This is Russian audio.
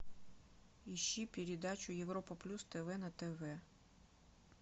ищи передачу европа плюс тв на тв